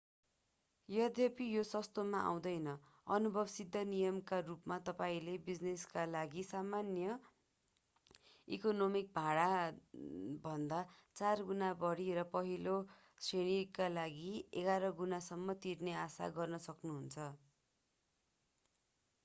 यद्यपि यो सस्तोमा आउँदैनः अनुभव सिद्ध नियमका रूपमा तपाईंले बिजिनेसका लागि सामान्य इकोनोमी भाडाभन्दा चार गुणा बढी र पहिलो श्रेणीका लागि एघार गुणासम्म तिर्ने आशा गर्न सक्नुहुन्छ